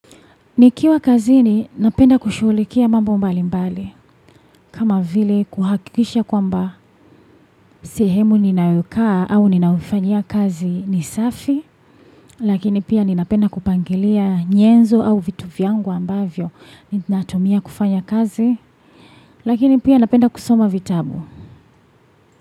Nikiwa kazini napenda kushuhulikia mambo mbali mbali kama vile kuhakikisha kwamba sehemu ninayokaa au ninaufanyia kazi ni safi lakini pia ninapenda kupangilia nyenzo au vitu vyangu ambavyo ninatumia kufanya kazi lakini pia napenda kusoma vitabu.